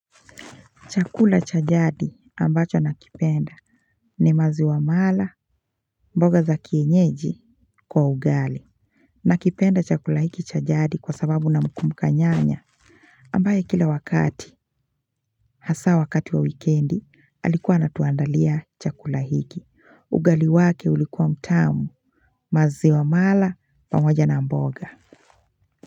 Chakula cha jadi ambacho nakipenda ni maziwa mala mboga za kienyeji kwa ugali. Nakipenda chakula hiki cha jadi kwa sababu namkumbuka nyanya ambaye kila wakati hasaa wakati wa wikendi alikuwa anatuandalia chakula hiki. Ugali wake ulikuwa mtamu, maziwa mala pamoja na mboga.